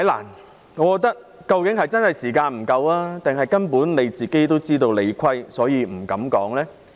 陳議員究竟是時間不夠，還是根本自知理虧而不敢發言？